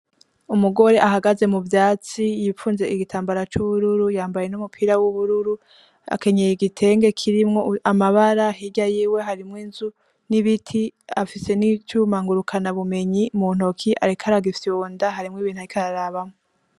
Umugore ahageze muvyasti yipfunze igitambara c’ubururu yambaye n'umupira w'ubururu akenyeye igitenge kirimwo amabara hirya yiwe harimwo inzu n’ibiti afise n'icuma ngurukanwa bumenyi muntoki ariko aragifyonda hari ibintu ariko arabamwo.